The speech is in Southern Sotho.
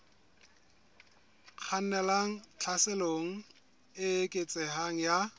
kgannelang tlhaselong e eketsehang ya